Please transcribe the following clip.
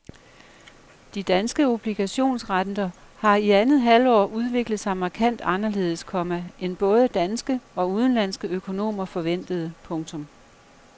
De danske obligationsrenter har i andet halvår udviklet sig markant anderledes, komma end både danske og udenlandske økonomer forventede. punktum